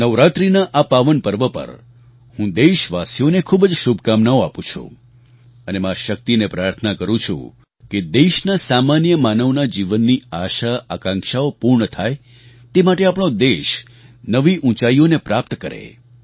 નવરાત્રિના આ પાવન પર્વ પર હું દેશવાસીઓને ખૂબ જ શુભકામનાઓ આપું છું અને મા શક્તિને પ્રાર્થના કરું છું કે દેશના સામાન્ય માનવના જીવનની આશાઆકાંક્ષાઓ પૂર્ણ થાય તે માટે આપણો દેશ નવી ઊંચાઈઓને પ્રાપ્ત કરે